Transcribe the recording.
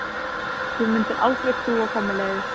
Þú mundir aldrei trúa hvað mér leiðist.